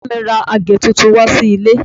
Bàbá mi ra àgé tuntun wá sí ilé